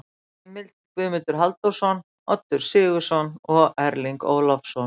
Heimild: Guðmundur Halldórsson, Oddur Sigurðsson og Erling Ólafsson.